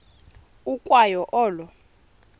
ukwa yo olo